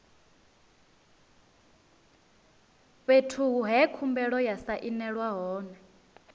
fhethu he khumbelo ya sainelwa hone